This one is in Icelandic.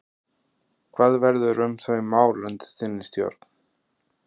Hvað verður um þau mál undir þinni stjórn?